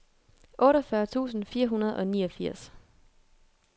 otteogfyrre tusind fire hundrede og niogfirs